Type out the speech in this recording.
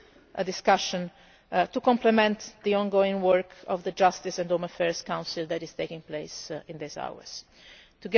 time, a discussion to complement the ongoing work of the Justice and Home Affairs Council that is taking place at the same